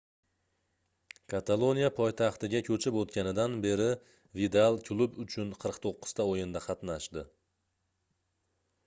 kataloniya poytaxtiga koʻchib oʻtganidan beri vidal klub uchun 49 ta oʻyinda qatnashdi